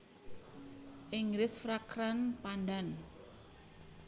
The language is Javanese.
Inggris Fragrant pandan